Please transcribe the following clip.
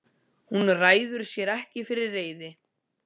Hún ræður sér ekki fyrir reiði.